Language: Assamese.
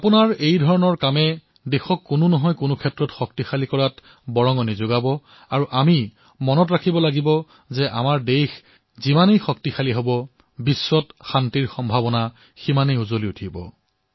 আপোনালোকৰ এই সেৱা দেশক কোনোবা নহয় কোনোবা ধৰণে শক্তিশালী কৰিব আৰু আমি এয়াও মনত ৰাখিব লাগিব যে আমাৰ দেশ যিমানেই শক্তিশালী হব সিমানেই বিশ্বত শান্তিৰ সম্ভাৱনাও বৃদ্ধি হব